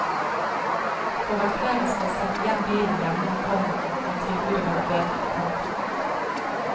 For at flere skal sette igjen bilen hjemme, komma må tilbudet være bedre. punktum